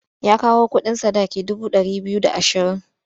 Ya kawo kuɗin sadaki dubu ɗari biyu da ashirin.